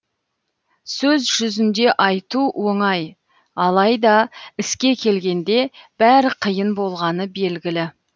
сөз жүзінде айту оңай алайда іске келгенде бәрі қиын болғаны белгілі